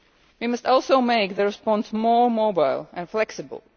We must also make the response more mobile and flexible